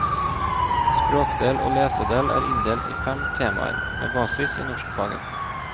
Språkdel og lesedel er inndelt i fem temaer, med basis i norskfaget.